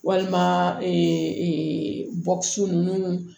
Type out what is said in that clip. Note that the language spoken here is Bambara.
Walima nunnu